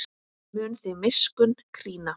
Hann mun þig miskunn krýna.